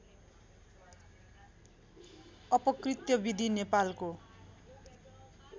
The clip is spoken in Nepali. अपकृत्‍य विधि नेपालको